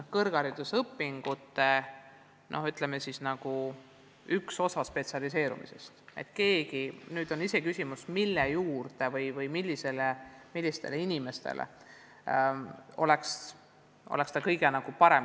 Kõrgharidusõpingute juurde kuulub ka spetsialiseerumine ja nüüd on küsimus, millistel erialadel õppijatele oleks kõige õigem täienduskoolituse raames viipekeelt õpetada.